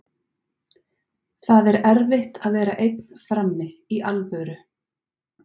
Það er erfitt að vera einn frammi, í alvöru.